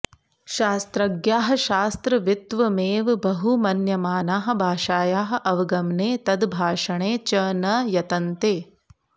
शास्त्रज्ञाः शास्त्रवित्वमेव बहुमन्यमानाः भाषायाः अवगमने तद्भाषणे च न यतन्ते